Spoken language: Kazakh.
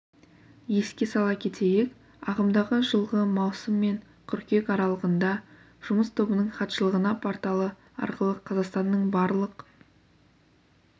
еске сала кетейік ағымдағы жылғы маусым мен қыркүйек аралығында жұмыс тобының хатшылығына порталы арқылы қазақстанның барлық